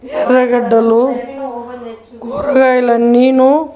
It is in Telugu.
ఎర్రగడ్డలు కూరగాయలు అన్నిను--